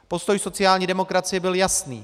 Postoj sociální demokracie byl jasný.